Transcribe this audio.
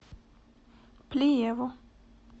плиеву